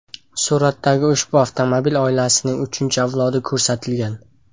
Suratdagi ushbu avtomobil oilasining uchinchi avlodi ko‘rsatilgan.